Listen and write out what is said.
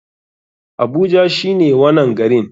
Abuja shine wanan garin.